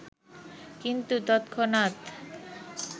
কিন্তু তৎক্ষনাত